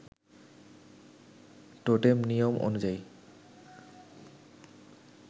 totem নিয়ম অনুযায়ী